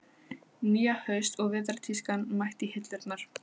Nýja haust- og vetrartískan mætt í hillurnar.